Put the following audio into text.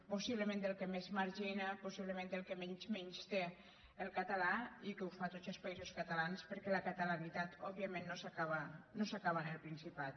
possiblement el que més margi·na possiblement el que més menysté el català i que ho fa a tots els països catalans perquè la catalanitat òb·viament no s’acaba en el principat